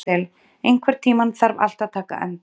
Adel, einhvern tímann þarf allt að taka enda.